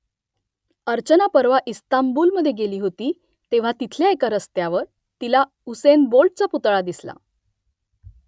अर्चना परवा इस्तांबूलमधे गेली होती तेव्हा तिथल्या एका रस्त्यावर तिला युसेन बोल्टचा पुतळा दिसला